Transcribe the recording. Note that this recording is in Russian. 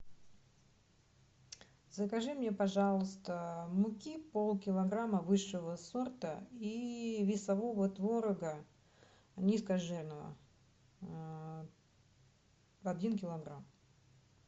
закажи мне пожалуйста муки полкилограмма высшего сорта и весового творога низкожирного один килограмм